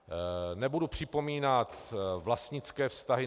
Nebudu připomínat vlastnické vztahy.